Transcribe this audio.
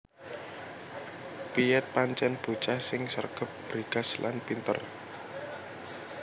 Piet pancèn bocah sing sregep bregas lan pinter